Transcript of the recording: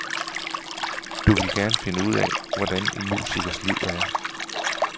Du ville gerne finde ud af, hvordan en musikers liv er.